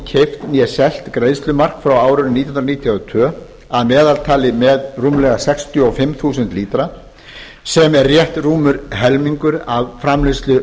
keypt né selt greiðslumark frá árinu nítján hundruð níutíu og tvö að meðaltali með rúmlega sextíu og fimm þúsund lítra sem er rétt rúmur helmingur af framleiðslu